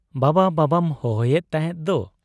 ᱵᱟᱵᱟ ᱵᱟᱵᱟᱢ ᱦᱚᱦᱚᱭᱮᱫ ᱛᱟᱦᱮᱸᱫ ᱫᱚ ?